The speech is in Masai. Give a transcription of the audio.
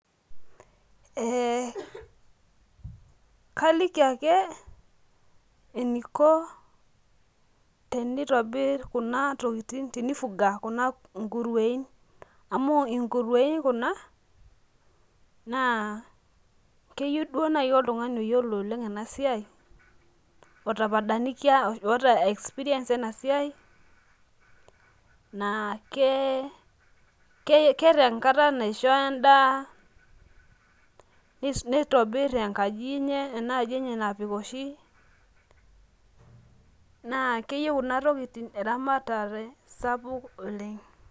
ee kaliki ake eniko tinifunga kuna kuruein amu inkuruein kuna naa keyieu duo naaji oltungani ota experience ena siai, otapadanikia keeta enkata naisho edaa, nitobir enkaji enye naa keyieu kuna tokitin eramata sapuk oleng.